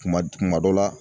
Kuma kuma dɔ la